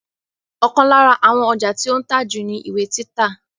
Ọ̀kan lára àwọn ọjà tí ó ń tà jù ni ìwé títa